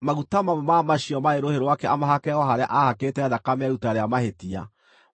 Maguta mamwe ma macio marĩ rũhĩ rwake amahake o harĩa aahakĩte thakame ya iruta rĩa mahĩtia,